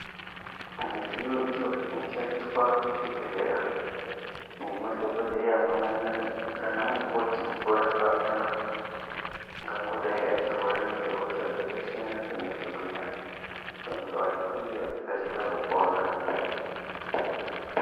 Mudziyo iyo inoshandiswa muzvibhedhlera nemadhokodheya pamwe nana mukoti kurapa antu angangodai achirapa hosha dzakasiyana siyana kuti antu aya anenge achikasira kupona.